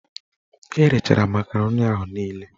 Erechara makaroni ahụ niile